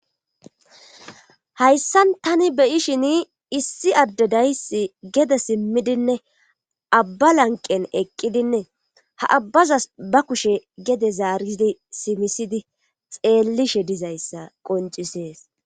ayssan tani beyishin issi addedays gede simmidinne abba lanqen eqqidinne ha abbazas ba kushe gede zaaridi simisidi xeellishe dizayssa qoncisees.